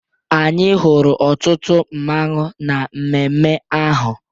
Anyị hụrụ ọtụtụ mmanwu na mmemme ahụ.